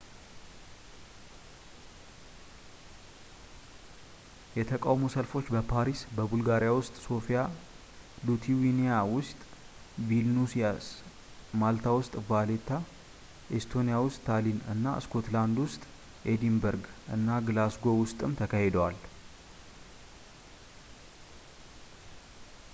የተቃውሞ ሰልፎች በፓሪስ ቡልጋሪያ ውስጥ ሶፊያ ሊቱዋኒያ ውስጥ ቪልኑይስ ማልታ ውስጥ ቫሌታ ኤስቶኒያ ውስጥ ታሊን እና ስኮትላንድ ውስጥ ኤዲንበርግ እና ግላስጎው ውስጥም ተካሂደዋል